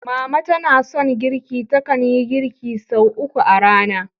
Mama tana son girki, takan yi girki sau uku a rana.